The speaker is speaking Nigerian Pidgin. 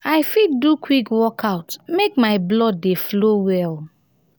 i fit do quick workout make my blood dey flow well.